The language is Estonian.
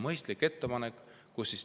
Mõistlik ettepanek!